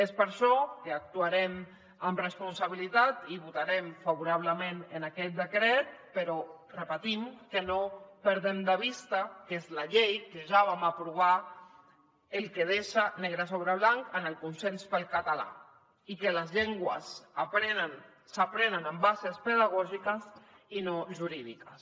és per això que actuarem amb responsabilitat i votarem favorablement aquest decret però repetint que no perdem de vista que és la llei que ja vam aprovar el que deixa negre sobre blanc en el consens pel català i que les llengües s’aprenen amb bases pedagògiques i no jurídiques